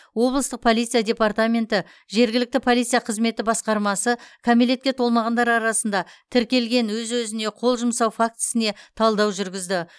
облыстық полиция департаменті жергілікті полиция қызметі басқармасы кәмелетке толмағандар арасында тіркелген өз өзіне қол жұмсау фактісіне талдау жүргізді